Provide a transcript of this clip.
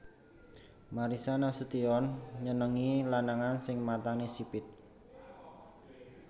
Marissa Nasution nyenengi lanangan sing matane sipit